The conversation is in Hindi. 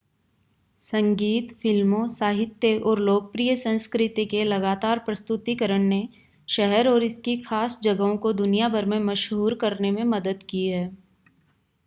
संगीत फ़िल्मों साहित्य और लोकप्रिय संस्कृति के लगातार प्रस्तुतिकरण ने शहर और इसकी खास जगहों को दुनिया भर में मशहूर करने में मदद की है